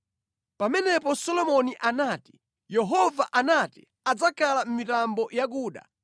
Pamenepo Solomoni anati, “Yehova anati adzakhala mʼmitambo yakuda;